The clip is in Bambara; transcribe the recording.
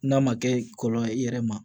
N'a ma kɛ kɔlɔlɔ ye i yɛrɛ ma